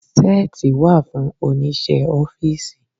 Seeti wa fún Oníṣẹ́ ọ́fíìsì.